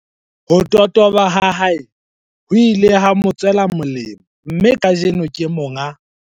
Ho totoba ha hae ho ile ha mo tswela molemo mme kajeno, ke monga